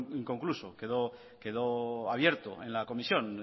inconcluso quedó abierto en la comisión